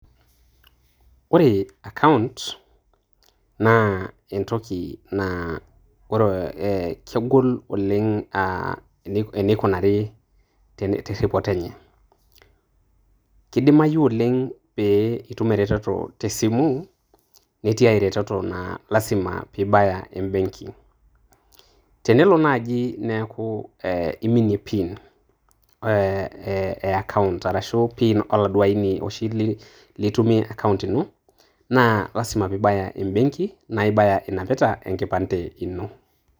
Ore account naa entoki naa ore eeh aah, kegol oleng aah eneikunare terripoto enye, keidimayu oleng pee itum eretoto te simu, netii ae retoto naa lazima pibaya ebenki, tenelo naaji neeku eeh iminie pin eeh eeh account arashu pin oladuoo aini oshi litumie account ino naa lazimaa pibaya embenki na ibaya inapita enkipande ino.